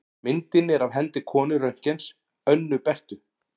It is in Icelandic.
Myndin er af hendi konu Röntgens, Önnu Berthu.